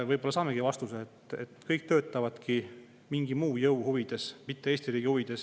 Võib-olla saamegi vastuse, et kõik töötavad mingi muu jõu huvides, mitte Eesti riigi huvides.